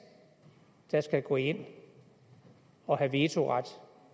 der skal gå ind og have vetoret